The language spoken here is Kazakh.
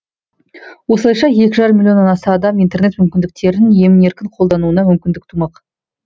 осылайша екі жарым милионнан аса адам интернет мүмкіндіктерін емін еркін қолдануына мүмкіндік тумақ